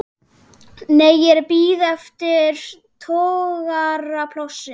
Nei, ég er að bíða eftir togaraplássi.